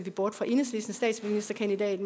bort fra enhedslistens statsministerkandidat